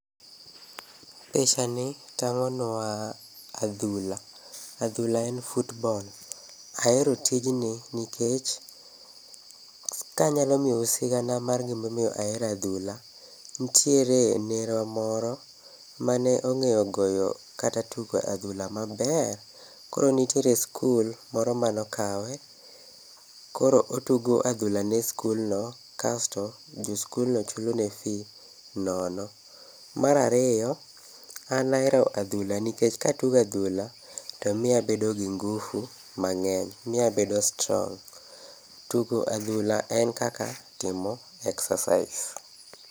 Picha ni tang'onwa adhula. Adhula en football. Ahero tijni kiech, kanyalo miyowu sigana mar gimomiyo ahero adhula. Nitiere nerwa moro mane ong'eyo goyo kata tugo adhula maber. Koro nitie skul moro manokawe, koro otugo adhula ne skulno kasto jo skulno chulone fee nono. Marariyo, an nahero adhula nikech katugo adhula to miyo abedo gi ngufu mang'eny. Miyabedo strong. Tugo adhula en kaka timo excercise.